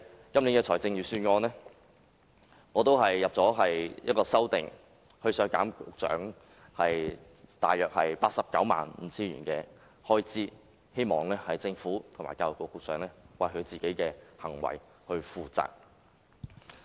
因此，我就今年預算案提出一項修正案，削減局長大約 895,000 元開支，希望政府及局長為其行為負責。